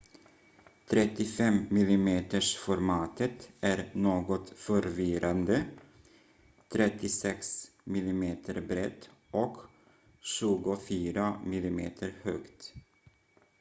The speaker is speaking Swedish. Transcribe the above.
35-milimetersformatet är något förvirrande 36 mm brett och 24 mm högt